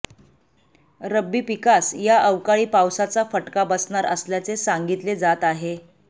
रब्बी पिकास या अवकाळी पावसाचा फटका बसणार असल्याचे सांगितले जात आहे